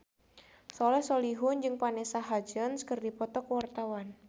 Soleh Solihun jeung Vanessa Hudgens keur dipoto ku wartawan